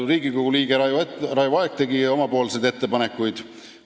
Riigikogu liige Raivo Aeg tegi oma ettepanekuid.